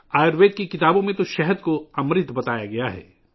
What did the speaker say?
آیوروید کی کتابوں میں شہد کو امرت کے طور پر بیان کیا گیا ہے